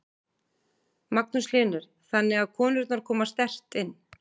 Magnús Hlynur: Þannig að konurnar koma sterkt inn?